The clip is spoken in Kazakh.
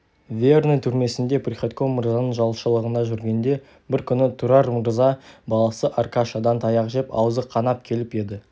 верный түрмесінде приходько мырзаның жалшылығында жүргенде бір күні тұрар мырза баласы аркашадан таяқ жеп аузы қанап келіп еді